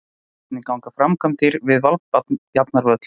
Hvernig ganga framkvæmdir við Valbjarnarvöll?